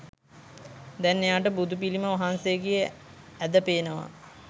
දැන් එයාට බුදුපිළිම වහන්සේගේ ඇද පේනවා.